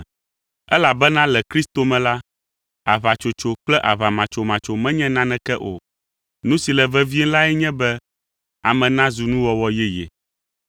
Elabena le Kristo me la, aʋatsotso kple aʋamatsomatso menye naneke o, nu si le vevie lae nye be ame nazu nuwɔwɔ yeye.